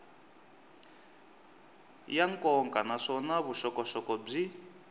ya nkoka naswona vuxokoxoko byi